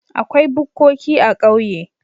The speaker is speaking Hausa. Akwai bukkoki a ƙauye.